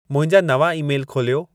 मुंहिंजा नवां ई-मेल खोलियो